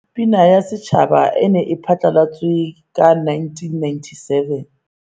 Pina ya Setjhaba e ne e phatlalatswe ka 1997.